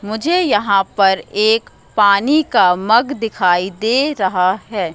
मुझे यहां पर एक पानी का मग दिखाई दे रहा है।